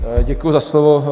Děkuji za slovo.